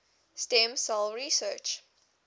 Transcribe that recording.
stem cell research